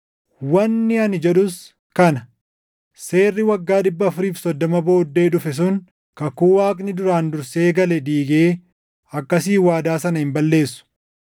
Wanni ani jedhus kana: Seerri waggaa 430 booddee dhufe sun kakuu Waaqni duraan dursee gale diigee akkasiin waadaa sana hin balleessu.